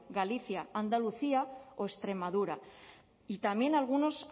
galicia andalucía o extremadura y también algunos